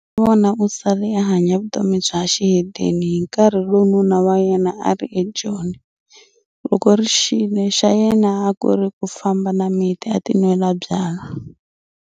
Sasavona u sale a hanya vutomi bya xihedeni hi nkarhi lowu nuna wa yena a ri eJoni. Loko ri xile xa yena a ku ri ku famba na miti a tinwela byalwa.